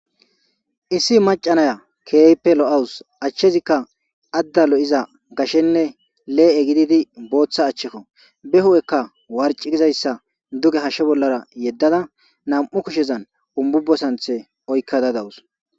Issi Mac,a nayiya kehippe lo,awus achazika ada lo,iza gashenne le,e gididi botha achako hupheka warc,I gidi duge hashe bolara yedada na,mu kushezan humbubo santhe oyiqada dawus